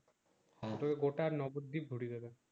ওটা গোটা নগর ডিপ গুরিবে